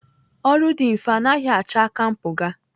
Ọrụ dị mfe anaghị achọ aka mpụga.